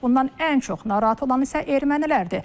Bundan ən çox narahat olan isə ermənilərdir.